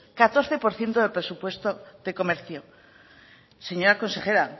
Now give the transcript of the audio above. catorce por ciento del presupuesto de comercio señora consejera